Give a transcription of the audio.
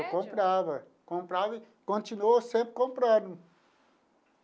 eu comprava, comprava e continuo sempre comprando.